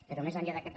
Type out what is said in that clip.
però més enllà d’aquest